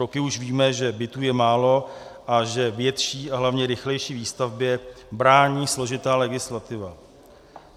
Roky už víme, že bytů je málo a že větší a hlavně rychlejší výstavbě brání složitá legislativa.